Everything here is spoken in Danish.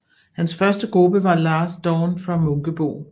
Hans første gruppe var Last Dawn fra Munkebo